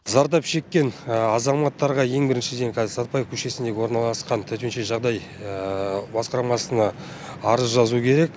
зардап шеккен азаматтарға ең біріншіден қазір сәтпаев көшесіндегі орналасқан төтенше жағдай басқармасына арыз жазу керек